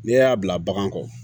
N'e y'a bila bagan kɔrɔ